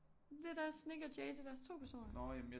Det er da også Nik og Jay det er da også 2 personer